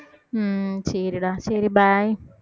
உம் சரிடா சரி bye